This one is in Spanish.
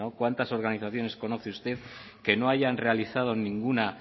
cuántas organizaciones conoce usted que no hayan realizado ninguna